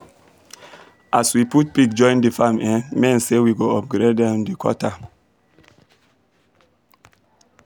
as we put pig join the farm um men say we go upgrade um the gutter